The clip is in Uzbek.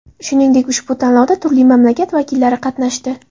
Shuningdek, ushbu tanlovda turli mamlakat vakillari qatnashdi.